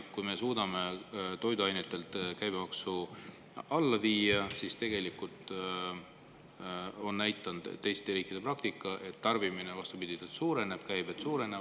Kui me suudame toiduainete käibemaksu alla viia, siis, nagu tegelikult on näidanud teiste riikide praktika, tarbimine suureneb, käibed suurenevad.